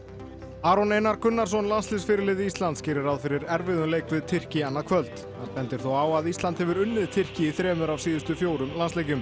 Aron Einar Gunnarsson Íslands gerir ráð fyrir erfiðum leik við Tyrki annað kvöld hann bendir þó á að Ísland hefur unnið Tyrki í þremur af síðustu fjórum landsleikjum